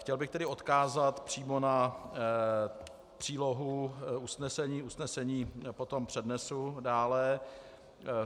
Chtěl bych tedy odkázat přímo na přílohu usnesení, usnesení potom přednesu dále.